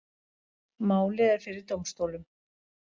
Málið er fyrir dómstólum